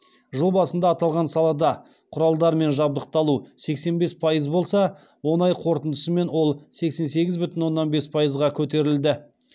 жыл басында аталған салада құралдармен жабдықталу сексен бес пайыз болса он ай қорытындысымен ол сексен сегіз бүтін оннан бес пайызға көтерілді